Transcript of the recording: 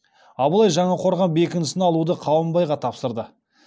абылай жаңақорған бекінісін алуды қабанбайға тапсырды